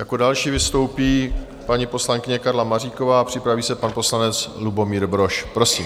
Jako další vystoupí paní poslankyně Karla Maříková a připraví se pan poslanec Lubomír Brož, prosím.